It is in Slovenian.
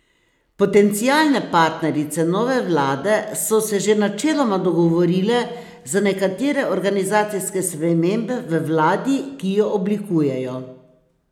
Potencialne partnerice nove vlade so se že načeloma dogovorile za nekatere organizacijske spremembe v vladi, ki jo oblikujejo.